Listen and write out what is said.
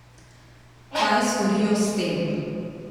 Kaj storijo s tem?